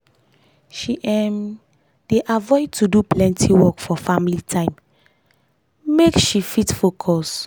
she um dey avoid to do plenty work for family time make family time make she fit focus.